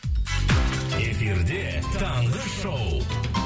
эфирде таңғы шоу